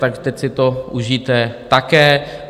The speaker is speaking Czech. Tak teď si to užijte také.